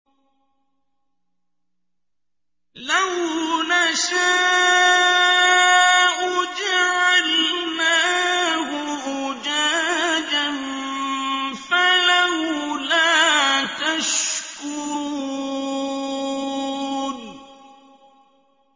لَوْ نَشَاءُ جَعَلْنَاهُ أُجَاجًا فَلَوْلَا تَشْكُرُونَ